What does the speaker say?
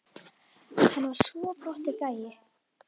Hann var svo flottur gæi.